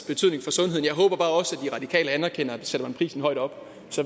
betydning for sundheden jeg håber bare også at de radikale anerkender at sætter man prisen højt op